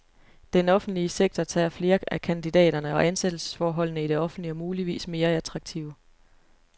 Den offentlige sektor tager flere af kandidaterne, og ansættelsesforholdene i det offentlige er muligvis mere attraktive.